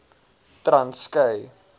transkei